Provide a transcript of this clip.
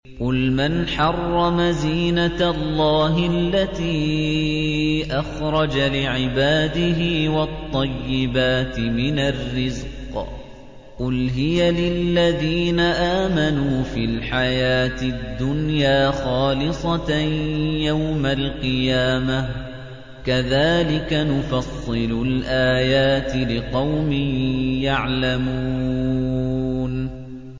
قُلْ مَنْ حَرَّمَ زِينَةَ اللَّهِ الَّتِي أَخْرَجَ لِعِبَادِهِ وَالطَّيِّبَاتِ مِنَ الرِّزْقِ ۚ قُلْ هِيَ لِلَّذِينَ آمَنُوا فِي الْحَيَاةِ الدُّنْيَا خَالِصَةً يَوْمَ الْقِيَامَةِ ۗ كَذَٰلِكَ نُفَصِّلُ الْآيَاتِ لِقَوْمٍ يَعْلَمُونَ